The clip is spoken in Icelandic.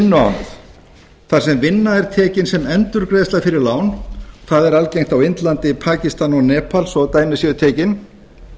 vinnuánauð þar sem vinna er tekin sem endurgreiðsla fyrir lán það er algengt á íslandi í pakistan og nepal svo dæmi séu tekin